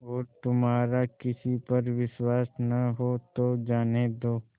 और तुम्हारा किसी पर विश्वास न हो तो जाने दो